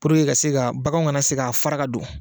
Purke ka se ka bagan kana se k'a fara ka don.